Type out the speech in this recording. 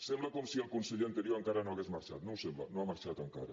sembla com si el conseller anterior no hagués marxat no ho sembla no ha marxat encara